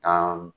Tan